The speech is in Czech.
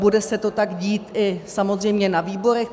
Bude se to tak dít i samozřejmě na výborech.